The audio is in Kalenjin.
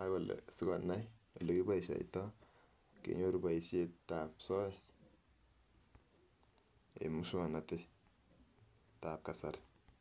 ak kole sikonai ole kiboishoito kenyoru boishet ab soet en miuswoknotet ab kasari.